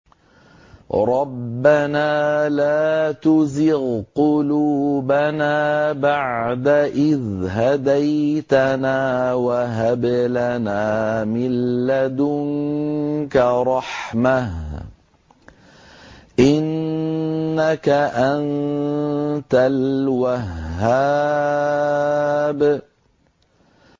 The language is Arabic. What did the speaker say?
رَبَّنَا لَا تُزِغْ قُلُوبَنَا بَعْدَ إِذْ هَدَيْتَنَا وَهَبْ لَنَا مِن لَّدُنكَ رَحْمَةً ۚ إِنَّكَ أَنتَ الْوَهَّابُ